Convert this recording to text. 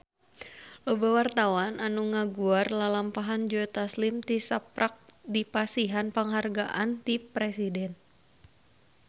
Loba wartawan anu ngaguar lalampahan Joe Taslim tisaprak dipasihan panghargaan ti Presiden